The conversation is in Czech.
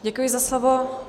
Děkuji za slovo.